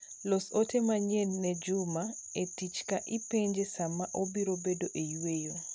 los ote manyien e juma e tich ka ipenje saa ma obiro bedo eyweyo